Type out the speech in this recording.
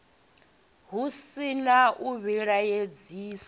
hu si na u vhilaedzisa